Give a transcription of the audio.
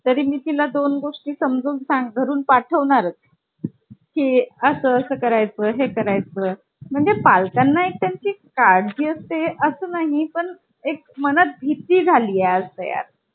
करणे खूप अवघड काम असतं. यासाठी आपल्याला computer expert ची गरज पडत असते की काही आपण सारे सुद्धा लोक कोणीही करू शकत नाही. त्याच्यामुळे कधीही device किंवा काही खराब वाटल. computer मध्ये हे